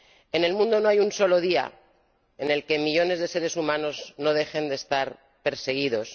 En el mundo no hay un solo día en el que millones de seres humanos no dejen de estar perseguidos